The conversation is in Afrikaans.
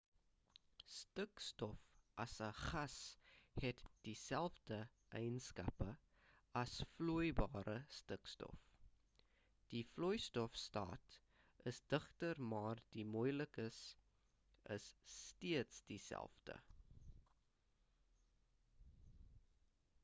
stikstof as 'n gas het dieselfde eienskappe as vloeibare stikstof die vloeistof staat is digter maar die molekules is steeds dieselfde